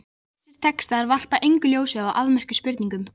Þessir textar varpa engu ljósi á þá afmörkuðu spurningu.